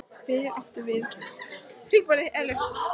Hvert áttum við svo sem að leita?